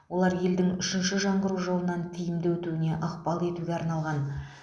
олар елдің үшінші жаңғыру жолынан тиімді өтуіне ықпал етуге арналған